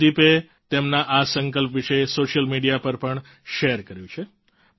અનુદીપે તેમના આ સંકલ્પ વિશે સોશિયલ મીડિયા પર પણ શેર કર્યું છે